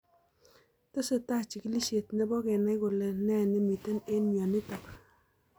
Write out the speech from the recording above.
Tesetai chigilishet nebo kenai kole ne nemitei eng' mionitok